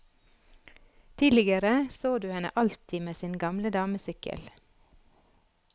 Tidligere så du henne alltid med sin gamle damesykkel.